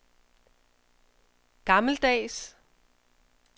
gammeldags